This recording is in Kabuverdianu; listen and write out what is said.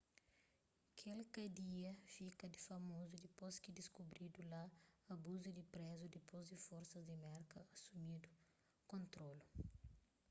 kel kadia fika famozu dipôs ki diskubridu la abusu di prézus dipôs di forsas di merka asumidu kontrolu